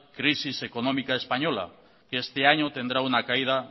crisis económica española que este año tendrá una caída